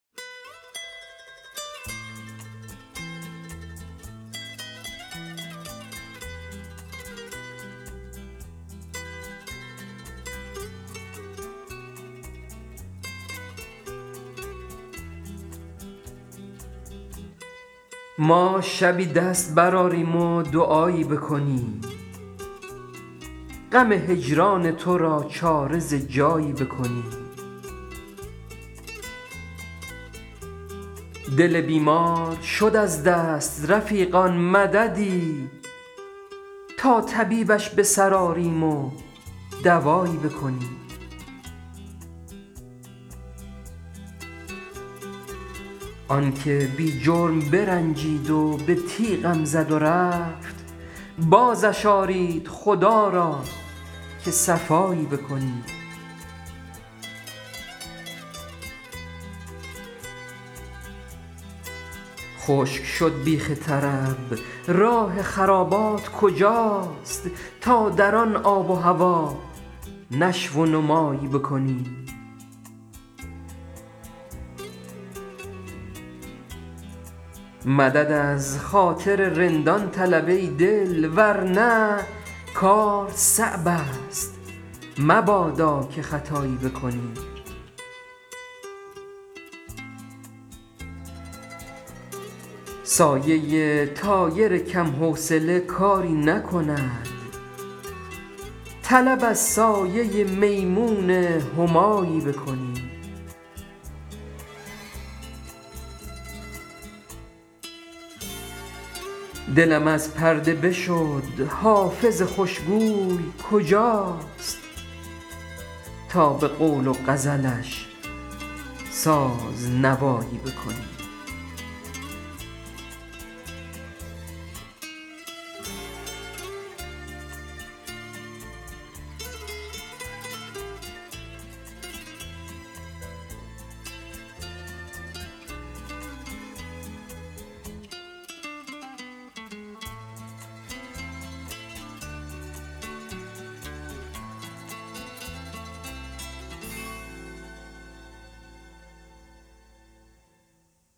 ما شبی دست برآریم و دعایی بکنیم غم هجران تو را چاره ز جایی بکنیم دل بیمار شد از دست رفیقان مددی تا طبیبش به سر آریم و دوایی بکنیم آن که بی جرم برنجید و به تیغم زد و رفت بازش آرید خدا را که صفایی بکنیم خشک شد بیخ طرب راه خرابات کجاست تا در آن آب و هوا نشو و نمایی بکنیم مدد از خاطر رندان طلب ای دل ور نه کار صعب است مبادا که خطایی بکنیم سایه طایر کم حوصله کاری نکند طلب از سایه میمون همایی بکنیم دلم از پرده بشد حافظ خوش گوی کجاست تا به قول و غزلش ساز نوایی بکنیم